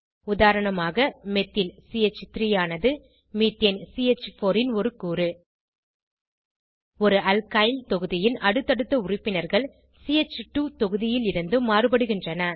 உதாரணமாக மெத்தில் சி3 ஆனது மீத்தேன் சி4 ன் ஒரு கூறு ஒருஅல்கைல் தொகுதியின் அடுத்தடுத்த உறுப்பினர்கள் சி2 தொகுதியிலிருந்து மாறுபடுகின்றன